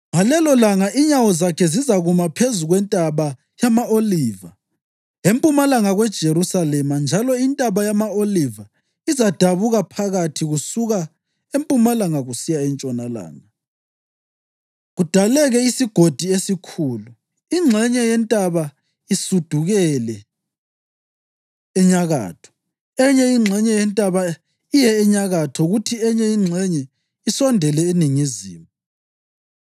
Ngalelolanga inyawo zakhe zizakuma phezu kwentaba yama-Oliva, empumalanga kweJerusalema njalo intaba yama-Oliva izadabuka phakathi kusuka empumalanga kusiya entshonalanga, kudaleke isigodi esikhulu, ingxenye yentaba isudukele enyakatho, enye ingxenye yentaba iye enyakatho kuthi enye ingxenye isondele eningizimu.